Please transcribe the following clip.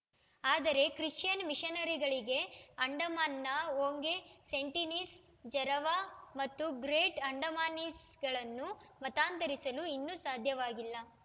ಆದರೆ ಕ್ರಿಶ್ಚಿಯನ್‌ ಮಿಷನರಿಗಳಿಗೆ ಅಂಡಮಾನ್‌ನ ಓಂಗೆ ಸೆಂಟಿನೀಸ್‌ ಜರವಾ ಮತ್ತು ಗ್ರೇಟ್‌ ಅಂಡಮಾನೀಸ್‌ಗಳನ್ನು ಮತಾಂತರಿಸಲು ಇನ್ನೂ ಸಾಧ್ಯವಾಗಿಲ್ಲ